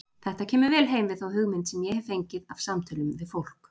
Þetta kemur vel heim við þá hugmynd sem ég hef fengið af samtölum við fólk.